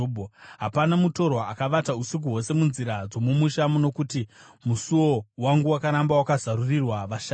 Hapana mutorwa akavata usiku hwose munzira dzomumusha, nokuti musuo wangu wakaramba wakazarurirwa vashanyi.